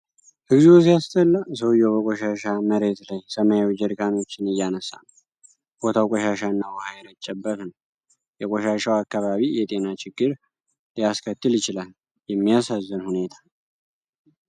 እግዚኦ ሲያስጠላ! ሰውዬው በቆሻሻ መሬት ላይ ሰማያዊ ጀሪካኖችን እያነሳ ነው። ቦታው ቆሻሻና ውሃ የረጨበት ነው። የቆሻሻው አካባቢ የጤና ችግር ሊያስከትል ይችላል። የሚያሳዝን ሁኔታ!